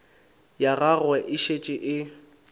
ya gagwe e šetše e